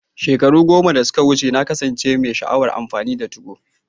Shekaru goma da suka wuce, na kasance mai sha'awar amfani da 2go.